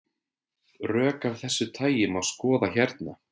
Rök af þessu tagi má skoða hérna.